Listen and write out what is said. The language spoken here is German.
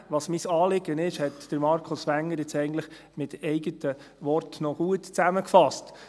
Was mein Anliegen ist, hat Markus Wenger jetzt eigentlich mit eigenen Worten gut zusammengefasst.